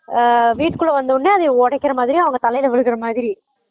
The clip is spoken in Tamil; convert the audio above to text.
ஆஹ் வீட்டுக்குளா வந்த ஒடனே அத ஒடைக்குற மாறி அவங்க தலைல விழுற மாறி